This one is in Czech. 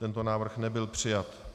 Tento návrh nebyl přijat.